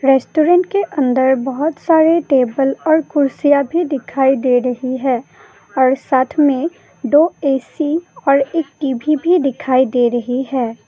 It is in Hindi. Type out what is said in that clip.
रेस्टोरेंट के अंदर बहोत सारे टेबल और कुर्सियां भी दिखाई दे रही है और साथ में दो ए_सी और एक टी_वी भी दिखाई दे रही है।